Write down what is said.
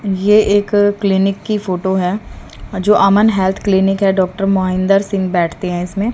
ये एक क्लीनिक की फोटो है जो अमन हेल्थ क्लिनिक है डॉक्टर मोहिंदर सिंग बैठते हैं इसमें।